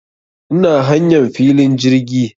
Ina hanyan filin jirgi